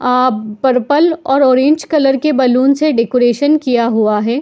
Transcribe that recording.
आ purple और orange colour के balloon से डेकोरेशन किया हुआ है।